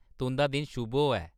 तुंʼदा दिन शुभ होऐ।